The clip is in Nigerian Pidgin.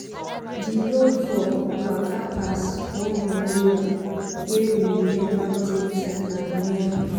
di road for waka pass one memorial wey we never take time admire before.